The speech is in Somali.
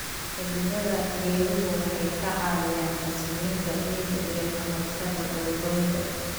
Xididdada geeduhu waxay ka caawiyaan xasilinta ciidda iyo ka hortagga dhul-goynta.